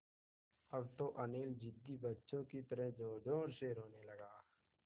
अब तो अनिल ज़िद्दी बच्चों की तरह ज़ोरज़ोर से रोने लगा